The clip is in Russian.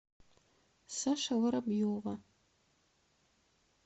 саша воробьева